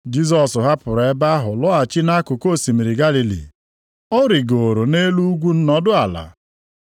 Jisọs hapụrụ ebe ahụ lọghachi nʼakụkụ osimiri Galili. Ọ rịgooro nʼelu ugwu nọdụ ala.